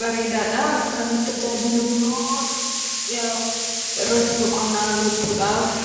bareedaadha. Kan tajaajilu immoo irratti boqonnaa argachuudhaafi.